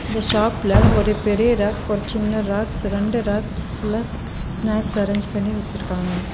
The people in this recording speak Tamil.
இந்த ஷாப்ல ஒரு பெரிய ரேக் ஒரு சின்ன ரேக்ஸ் இரண்டு ரேக் ஃபுல்லா ஸ்நேக்ஸ் அரேஞ்ச் பண்ணி வெச்சிருக்காங்க.